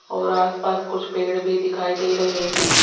और आसपास कुछ पेड़ भी दिखाई दे रहे हैं।